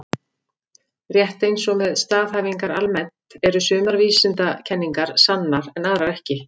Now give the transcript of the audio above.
Rétt eins og með staðhæfingar almennt eru sumar vísindakenningar sannar en aðrar ekki.